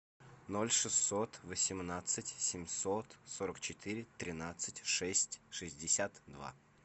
ноль шестьсот восемнадцать семьсот сорок четыре тринадцать шесть шестьдесят два